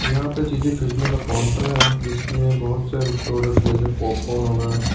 यहां पे चीजें खरीदने का काउंटर है जिसमें बहुत से प्रोडक्ट जैसे पॉपकॉर्न होगा।